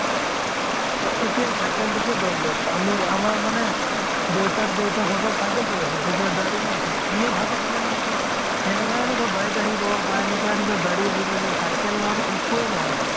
এ এতিয়া cycle তোকে ধৰি লওঁক । আমি, আমাৰ মানে দেউতা ৰ দেউতাক সকল cycle চলাইছিল । তেতিয়া গাড়ী নাছিল । কোনেও ভাবিছিলে নেকি যে, এনেকুৱা এনেকুৱা bike আহিব বা এনেকুৱা এনেকুৱা গাড়ী আহিব যে cycle ৰ একোৱে নহয় আৰু